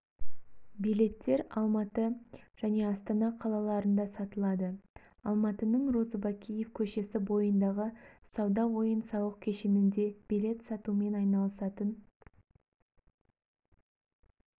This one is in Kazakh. билеттер алматы және астана қалаларында сатылады алматының розыбакиев көшесі бойындағы сауда ойын-сауық кешенінде билет сатумен айналысатын